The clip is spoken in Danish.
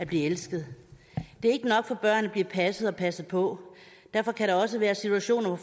blive elsket det er ikke nok for børn at blive passet og passet på derfor kan der også være situationer